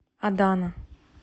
адана